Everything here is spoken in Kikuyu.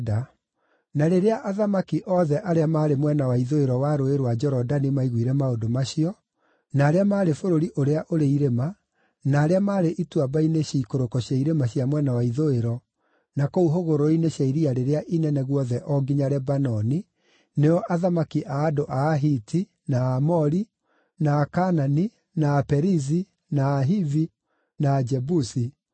Na rĩrĩa athamaki othe arĩa maarĩ mwena wa ithũĩro wa Rũũĩ rwa Jorodani maiguire maũndũ macio, na arĩa maarĩ bũrũri ũrĩa ũrĩ irĩma, na arĩa maarĩ ituamba-ini ciikũrũko cia irĩma cia mwena wa ithũĩro, na kũu hũgũrũrũ-inĩ cia Iria rĩrĩa Inene guothe o nginya Lebanoni (nĩo athamaki a andũ a Ahiti, na Aamori, na Akaanani, na Aperizi, na Ahivi, na Ajebusi),